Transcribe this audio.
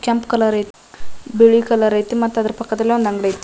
ಕೆಂಪ್ ಕಲರ್ ಐತಿ ಬಿಳಿ ಕಲರ್ ಐತಿ ಮತ್ತ ಅದ್ರ ಪಕ್ಕದಲ್ಲಿ ಒಂದ್ ಅಂಗಡಿ ಐತಿ.